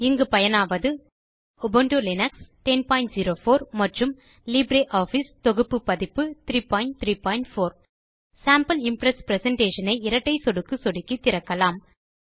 இங்கு பயனாவது Ubuntu Linux 1004 மற்றும் லிப்ரியாஃபிஸ் தொகுப்பு பதிப்பு 334 சேம்பிள் இம்ப்ரெஸ் பிரசன்டேஷன் ஐ இரட்டை சொடுக்கு சொடுக்கி திறக்கலாம்